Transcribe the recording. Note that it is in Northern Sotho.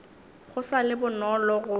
go sa le bonolo go